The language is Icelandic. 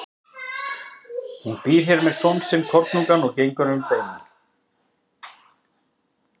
Hún býr hér með son sinn kornungan og gengur um beina.